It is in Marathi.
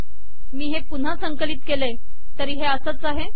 मी हे पुन्हा संकलित केले तरी हे असच आहे